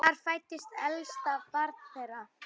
Þar fæddist elsta barn þeirra.